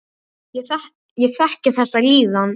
Ég þekki þessa líðan.